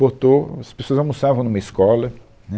Botou, as pessoas almoçavam numa escola, né,